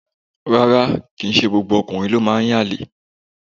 Rárá, kìí ṣe gbogbo ọkùnrin ló máa ń yànlè.